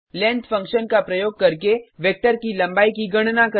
length function का प्रयोग करके वेक्टर की लम्बाई की गणना करना